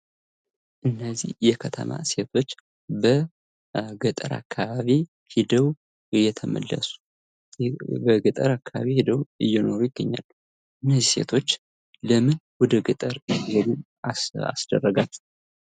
እነዚህ የከተማ ሴቶች በገጠር አካባቢ ሄደው እየተመለሱ ወይም በገጠር አካባቢ ሄደው እየኖሩ ይገኛል። እነዚህ ሴቶች ለምን ወደ ገጠር ሄዱ?